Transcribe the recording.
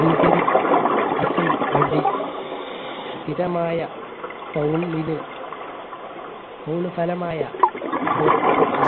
ബിൽകരീ സം വ സ്ഥിരമായ foul ലെ foul ഫലമായ